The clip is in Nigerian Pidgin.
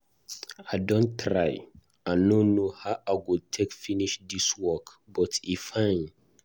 I don try, i no know how I go take finish dis work but e fine.